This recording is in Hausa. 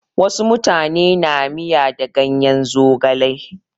Wasu mutane na miya da ganyen zogale.